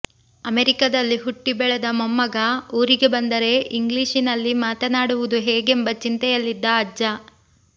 ಅಮೆರಿಕದಲ್ಲಿ ಹುಟ್ಟಿ ಬೆಳೆದ ಮೊಮ್ಮಗ ಊರಿಗೆ ಬಂದರೆ ಇಂಗ್ಲೀಷಿನಲ್ಲಿ ಮಾತನಾಡುವುದು ಹೇಗೆಂಬ ಚಿಂತೆಯಲ್ಲಿದ್ದ ಅಜ್ಜ